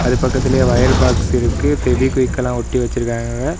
அது பக்கத்துல wire box இருக்கு பெவிகுய்க்கெல்லாம் ஒட்டி வச்சிருக்காங்க.